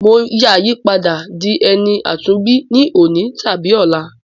Mo ya yi padà di ẹni àtúnbí ni òní tàbí ọla.